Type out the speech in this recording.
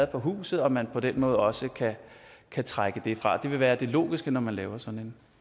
på huset og at man på den måde også kan trække det fra det vil være det logiske når man laver sådan